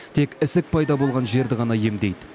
тек ісік пайда болған жерді ғана емдейді